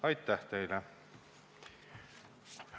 Aitäh teile!